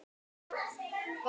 Litlu munar að ég kúgist.